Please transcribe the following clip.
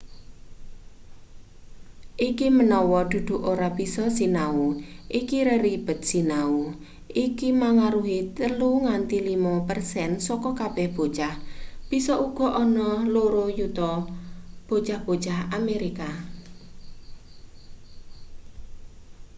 iki menawa dudu ora bisa sinau iku reribed sinau iku mangaruhi 3 nganti 5 persen saka kabeh bocah bisa uga ana 2 yuta bocah-bocah amerika